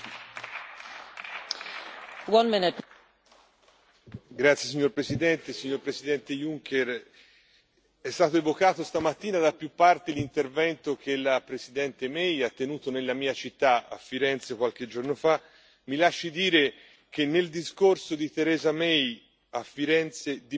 Signora Presidente, onorevoli colleghi, signor Presidente Juncker, è stato evocato stamattina da più parti l'intervento che la Premier May ha tenuto nella mia città, Firenze, qualche giorno fa mi lasci dire che nel discorso di Theresa May, a Firenze, di bello c'era solo Firenze